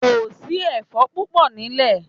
Kò sí ẹfọ́n púpọ̀ nílẹ̀.